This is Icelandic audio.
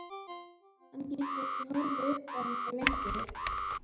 Hann getur ekki horft upp á þetta lengur.